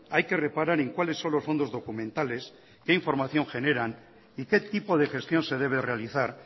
hay que reparar en cuáles son los fondos documentales qué información generan y qué tipo de gestión se debe realizar